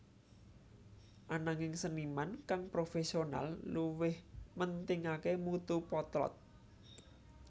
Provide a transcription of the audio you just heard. Ananging seniman kang profesional luwih mentingaké mutu potlot